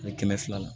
A bɛ kɛmɛ filala